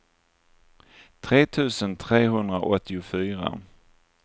tre tusen trehundraåttiofyra